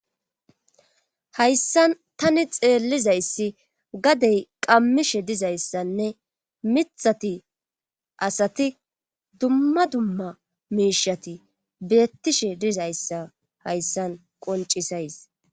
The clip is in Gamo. Hayssan tani xeellizayssi gadey qammishe dizayssanne mithati asati dumma dumma miishati beettishe dizayssa hayssan qoncisays